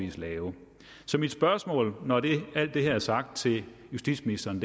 lave så mit spørgsmål når alt det her er sagt til justitsministeren